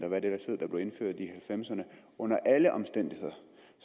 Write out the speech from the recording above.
halvfemserne under alle omstændigheder